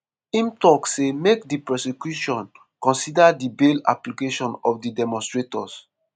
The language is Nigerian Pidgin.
im tok say make di prosecution consider di bail application of di demonstrators.